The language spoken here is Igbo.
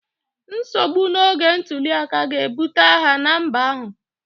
nsogbu n'oge ntuli aka ga-ebute agha na mba ahụ